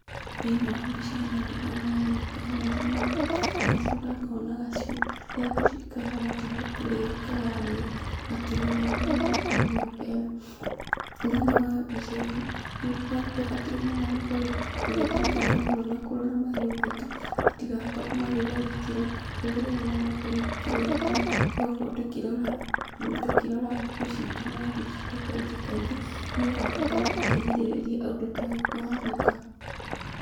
Thĩinĩ wa mbica ĩno ndĩrona nyoka nene mũno. Ngacoka ngona gacui. Haria gacui kahana taarĩ kũrĩo kararĩo gakĩmeragio nĩ nĩ nyoka ĩno. Thĩinĩ wa mbica ĩno nĩtubatiĩ mũno gukorwo tũgĩthingata mahiũ na kũrora mahiũ maitũ matigakorwo magĩtharĩkĩrwo. Ta rĩu ta kĩrĩa njui. Tugakorwo tukĩrora tũkĩrora ngũkũ ciitũ na njui ciitũ kaingĩ kaingĩ nĩgetha tũkorwo tũkĩgirĩrĩria ũndũ ta ũyũ kũhanĩka.